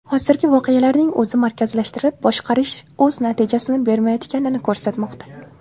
Hozirgi voqealarning o‘zi markazlashtirib boshqarish o‘z natijasini bermayotganini ko‘rsatmoqda.